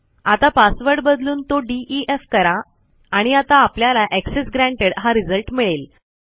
आता पासवर्ड बदलून तो डीईएफ करा आणि आता आपल्याला एक्सेस ग्रँटेड हा रिझल्ट मिळेल